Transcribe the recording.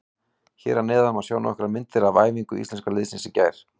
Hér að neðan má sjá nokkrar myndir af æfingu Íslenska liðsins í gær.